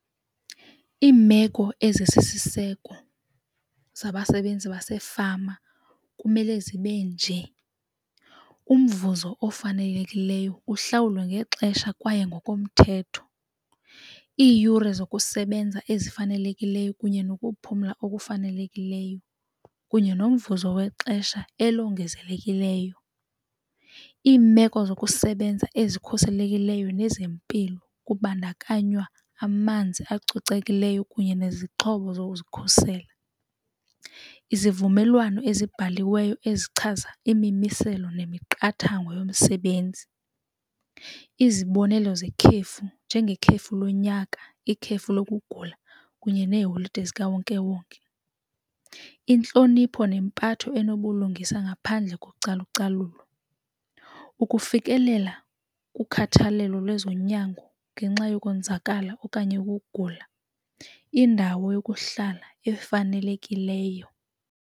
Iimeko ezisisiseko zempangelo zabasebenzi basefama kumele zibe nje, umvuzo ofanelekileyo uhlawulwe ngexesha kwaye ngokomthetho. Iiyure zokusebenza ezifanelekileyo kunye nokuphumla okufanelekileyo kunye nomvuzo wexesha elongezelekileyo. Iimeko zokusebenza ezikhuselekileyo nezempilo kubandakanywa amanzi acocekileyo kunye nezixhobo zokukhuselwa, izivumelwano ezibhaliweyo ezichaza imimiselo nemiqathango yomsebenzi, izibonelo zekhefu njengekhefu lonyaka, ikhefu lokugula kunye neeholide zikawonkewonke. Intlonipho nempatho enobulungisa ngaphandle kocalucalulo, ukufikelela kukhathalelo lwezonyango ngenxa yokwenzakala okanye ukugula, indawo yokuhlala efanelekileyo.